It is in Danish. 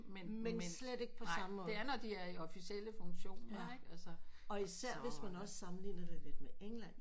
Men slet ikke på samme måde og især også hvis man sammenligner det med England